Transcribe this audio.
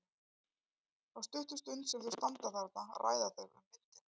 Þá stuttu stund sem þau standa þarna ræða þau um myndina.